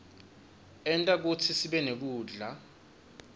enta kutsi sibenekudla